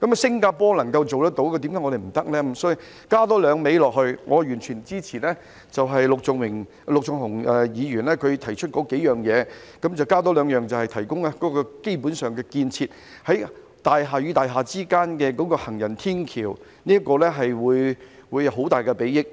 因此，我想多加"兩味"，我完全支持陸頌雄議員提出的幾項要點，但我想多加兩項，便是提供基本建設，在大廈與大廈之間興建行人天橋，這個會有很大裨益。